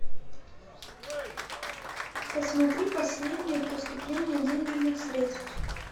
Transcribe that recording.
посмотри последнее поступление денежных средств